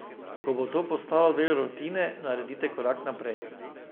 Ko bo to postalo del rutine, naredite korak naprej.